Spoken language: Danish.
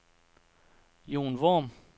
Jon Worm